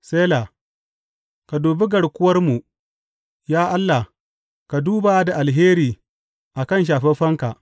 Sela Ka dubi garkuwarmu, ya Allah; ka duba da alheri a kan shafaffenka.